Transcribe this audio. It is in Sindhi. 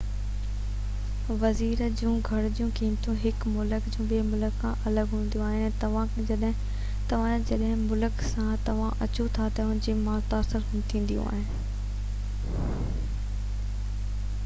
ويزا جون گهرجون ۽ قيمتون هڪ ملڪ جون ٻي ملڪ سان الڳ هونديون آهن ۽ توهان جنهن ملڪ سان توهان اچو ٿا ان کان متاثر ٿينديون آهن